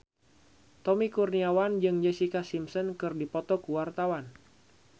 Tommy Kurniawan jeung Jessica Simpson keur dipoto ku wartawan